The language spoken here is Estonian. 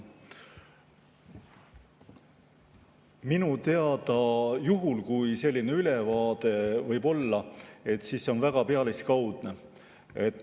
Minu teada, juhul, kui selline ülevaade on, siis see on väga pealiskaudne.